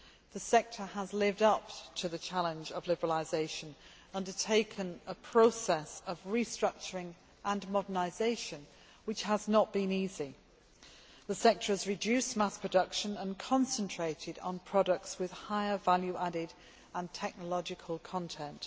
The sector has lived up to the challenge of liberalisation and has undertaken a process of restructuring and modernisation, which has not been easy. The sector has reduced mass production and concentrated on products with higher value added and technological content.